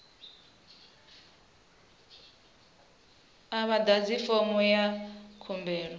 a vha ḓadzi fomo ya khumbelo